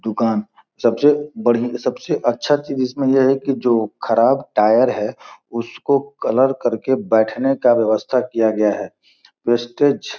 दुकान सबसे बड़ी सबसे अच्छा चीज़ इसमें ये है जो ये ख़राब टायर हैं उसको कलर कर के बैठने का व्यवस्था किया गया हैं प्रेस्टीज --